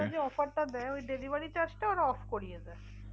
ওরা যে offer টা দেয় ওই delivery charge টা ওরা off করিয়ে দেয়।